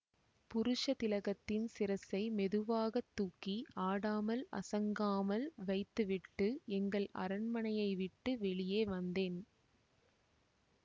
புருஷதிலகத்தின் சிரசை மெதுவாக தூக்கி ஆடாமல் அசங்காமல் வைத்துவிட்டு எங்கள் அரண்மனையைவிட்டு வெளியே வந்தேன்